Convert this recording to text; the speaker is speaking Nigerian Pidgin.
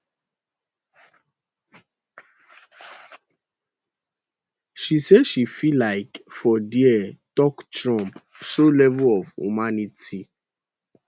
she say she feel like for dia tok trump show level of humanity